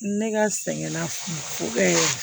Ne ka sɛgɛn na fo